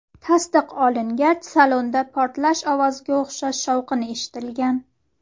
Tasdiq olingach, salonda portlash ovoziga o‘xshash shovqin eshitilgan.